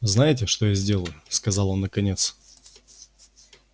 знаете что я сделаю сказал он наконец